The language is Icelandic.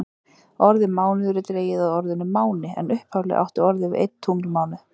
Orðið mánuður er dregið af orðinu máni en upphaflega átti orðið við einn tunglmánuð.